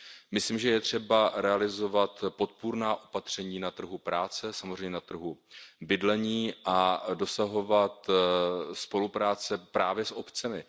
Myslím, že je třeba realizovat podpůrná opatření na trhu práce, samozřejmě na trhu bydlení a dosahovat spolupráce právě s obcemi.